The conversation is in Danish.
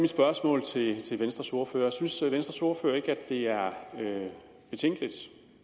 spørgsmål til venstres ordfører så synes venstres ordfører ikke det er betænkeligt